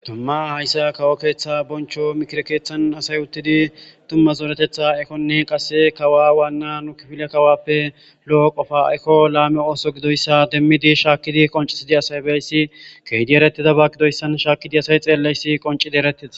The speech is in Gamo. Dumma aysiya kawo keetha boncho mikire keethan asay uttidi dumma zoretetha ehonne qase kawa wana nu kifiliyappe lo'o qofa eko laame ootho gidoyssa demmidi shaakidi qoncissidi asay biyassi keehidi eretidaba gidoyssa shaaki asay xeeliyassi qonccidi eretides.